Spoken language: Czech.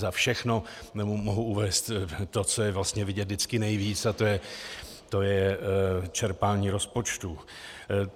Za všechno mohu uvést to, co je vlastně vidět vždycky nejvíc, a to je čerpání rozpočtu.